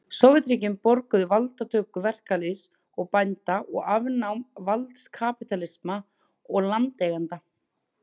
Sovétríkin boðuðu valdatöku verkalýðs og bænda og afnám valds kapítalista og landeigenda.